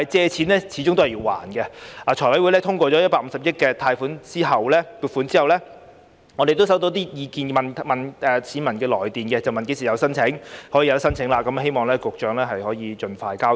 財務委員會通過150億元的貸款撥款後，我們收到市民來電查詢何時可以申請，希望局長可以盡快交代。